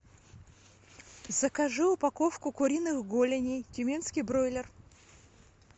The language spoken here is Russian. закажи упаковку куриных голеней тюменский бройлер